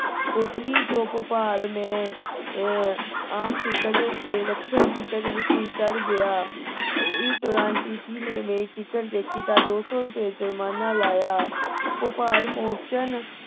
ਪੁਪਲੀ ਤੋਂ ਭੁਪਾਲ ਮੈਂ ਅਹ ਆਮ ticket ਤੇ ਰਾਖਿਤ ticket ਵਿੱਚ ਚੜ੍ਹ ਗਿਆ ਉਸ ਦੌਰਾਨ tt ਨੇ ਮੇਰੀ ticket ਦੇਖੀ ਤੇ ਦੋ ਸੌ ਰੁਪਏ ਜੁਰਮਾਨਾ ਲਗਾਇਆ ਭੋਪਾਲ ਪਹੁੰਚਨ